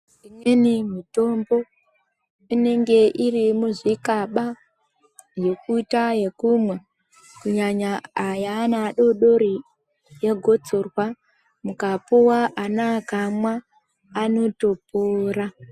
Imweni mutombo inenge iri muzvikaba yekuita ekumwa kunyanya yeana adodori yegotsorwa mukapuwa ana vakamwa vanotopora